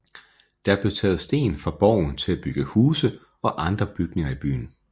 Der blev taget sten fra borgen til at bygge huse og andre bygninger i byen